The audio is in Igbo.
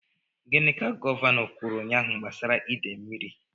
Gịnị ka Gọvanọ kwuru ụnyahụ gbasara ide mmiri?